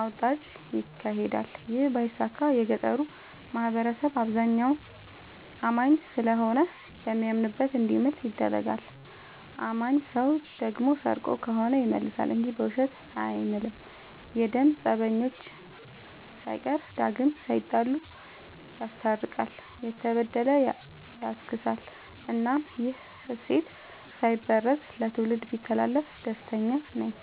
አውጣጭ ይካሄዳል ይህ ባይሳካ የገጠሩ ማህበረሰብ አብዛኛው አማኝ ስለሆነ በሚያምንበት እንዲምል ይደረጋል። አማኝ ሰው ደግሞ ሰርቆ ከሆነ ይመልሳ እንጂ በውሸት አይምልም። የደም ፀበኞችን ሳይቀር ዳግም ላይጣሉ ይስታርቃል፤ የተበደለ ያስክሳል እናም ይህ እሴት ሳይበረዝ ለትውልድ ቢተላለፍ ደስተኛ ነኝ።